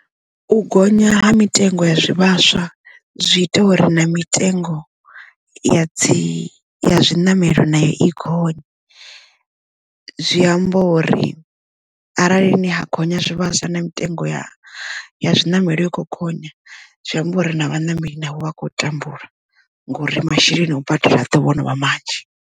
U gonya ha mitengo ya zwivhaswa zwi ita uri na mitengo ya dzi ya zwiṋamelo nayo i gonye zwi amba uri arali ni ha gonya zwivhaswa na mitengo ya zwiṋamelo i khokhonya zwi amba uri na vhaṋameli navho vha a khou tambula ngori masheleni a u badela a ḓovho novha manzhi.